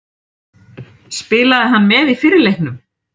Spilaði hann með í fyrri leiknum?